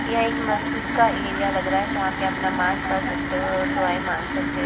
यह एक मस्जिद का एरिया लग रहा है जहां पे आप नमाज पढ़ सकते हो दुआएं मांग सकते --